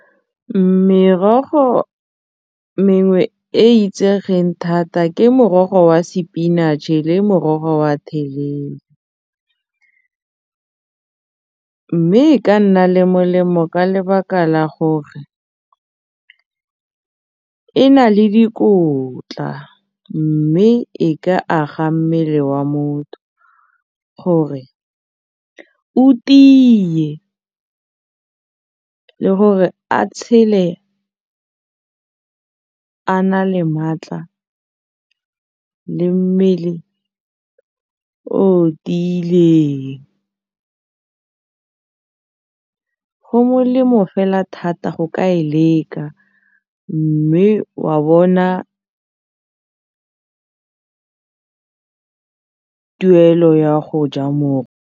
Merogo mengwe e e itsegeng thata ke morogo wa sepinatšhe le morogo wa mme e ka nna le molemo ka lebaka la gore e na le dikotla mme e ka aga mmele wa motho gore o tiye le gore a tshele a na le maatla le mmele o tiileng, go molemo fela thata go ka e leka mme wa bona tuelo ya go ja .